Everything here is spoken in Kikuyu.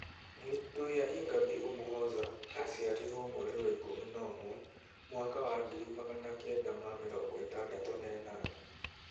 Victoire Ingabire Umuhoza aciarirwo mweri wa ikũmi na ũmwe mwaka wa 1968.